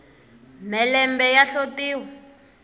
mhelembe ya hlotiwa